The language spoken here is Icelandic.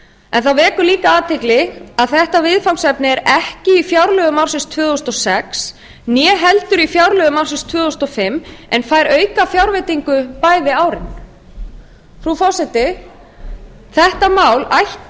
en það vekur líka athygli að þetta viðfangsefni er ekki í fjárlög núll ögum ársins tvö þúsund og sex né heldur í fjárlög núll ögum árin tvö þúsund og fimm en fær aukafjárveitingu bæði árin frú forseti þetta mál ætti